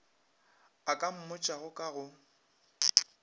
a ka mmotšago ka go